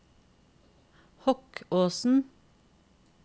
Hokkåsen